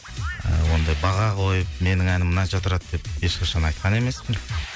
ыыы ондай баға қойып менің әнім мынанша тұрады деп ешқашан айтқан емеспін